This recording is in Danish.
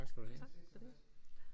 Tak for det